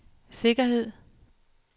sikkerhed